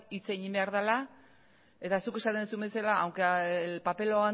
hitz egin behar dela eta zuk esaten duzun bezala aunque el papel lo